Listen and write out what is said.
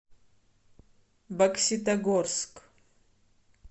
бокситогорск